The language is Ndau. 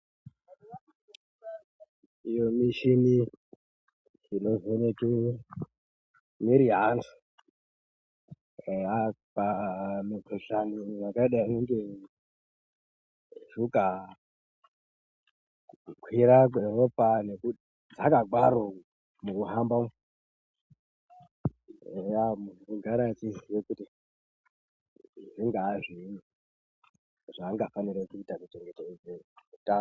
Iyo michini inovheneke mwiri yeantu eya pa mikhuhlani yakadai ngeshuka ,kukwira kweropa nekudzaka kwaro mukuhamba umu, eya muntu unogara eiziya kuti zvingaa zviinyi zvangafanire kuita kuchengetedze utano.